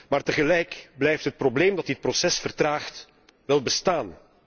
Maar tegelijk blijft het probleem dat dit proces vertraagt, wél bestaan.